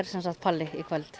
Palli í kvöld